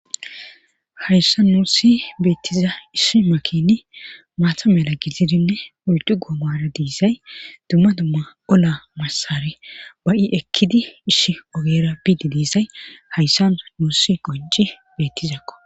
hayssa nuussi beettiza issi makini maatha mela gizidinne uydu goomara diisay dumma dumma ola massare ba7i ekkidi ishi ogera biidi diisay hayssa nuusi qonci beettizakko